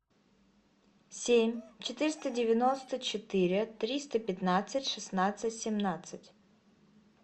семь четыреста девяносто четыре триста пятнадцать шестнадцать семнадцать